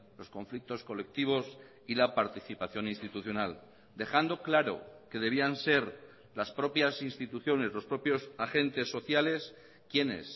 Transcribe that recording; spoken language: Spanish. los conflictos colectivos y la participación institucional dejando claro que debían ser las propias instituciones los propios agentes sociales quienes